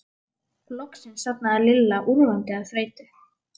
Loksins sofnaði Lilla úrvinda af þreytu.